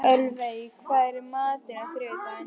Ölveig, hvað er í matinn á þriðjudaginn?